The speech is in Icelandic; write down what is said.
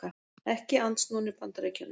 Ekki andsnúnir Bandaríkjunum